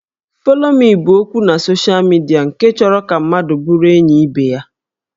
Follow me' bụ okwu na social media nke chọrọ ka mmadụ bụrụ enyi ibe ya